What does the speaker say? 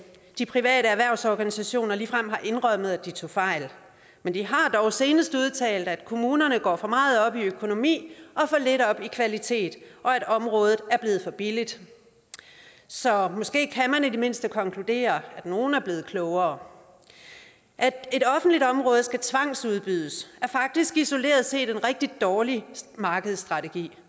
de private erhvervsorganisationer ligefrem har indrømmet at de tog fejl men de har dog senest udtalt at kommunerne går for meget op i økonomi og for lidt op i kvalitet og at området er blevet for billigt så måske kan man i det mindste konkludere at nogen er blevet klogere at et offentligt område skal tvangsudbydes er faktisk isoleret set en rigtig dårlig markedsstrategi